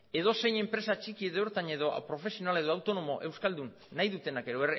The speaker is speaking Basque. edozein enpresa txiki edo ertain edo profesional edo autonomo euskaldun nahi dutenak edo